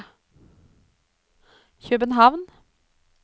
København